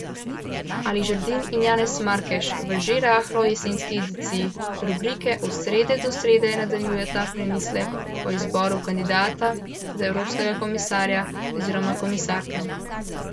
Ali Žerdin in Janez Markeš v že rahlo jesenski ediciji rubrike Od srede do srede nadaljujeta premislek o izboru kandidata za evropskega komisarja oziroma komisarke.